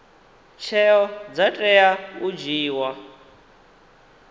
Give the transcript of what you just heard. tsheo dza tea u dzhiiwa